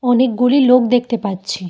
অনেকগুলি লোক দেখতে পাচ্ছি।